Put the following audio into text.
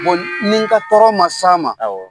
ni n ka tɔrɔ man s'a ma, awɔ.